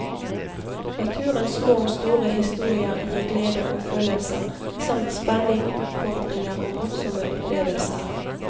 Naturens små og store historier gir glede og følelser samt spenning, utfordringer og morsomme opplevelser.